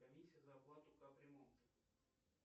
комиссия за оплату капремонта